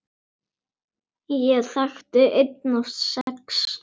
Ég þekkti einn af sex!